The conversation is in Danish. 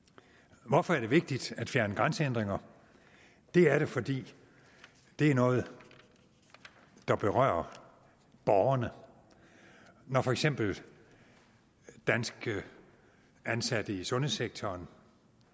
hvorfor er er vigtigt at fjerne grænsehindringer det er det fordi det er noget der berører borgerne når for eksempel danske ansatte i sundhedssektoren